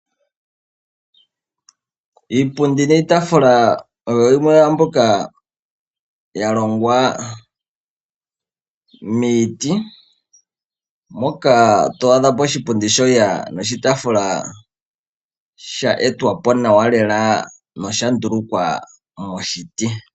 Iipundi niitaafula oyo yimwe yaambyoka ya longwa miiti, moka to adha po oshipundi osho wo oshitaafula sha etwa po nawa lela nosha ndulukwa moshiti.